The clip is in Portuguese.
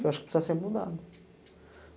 Que eu acho que precisa ser mudado.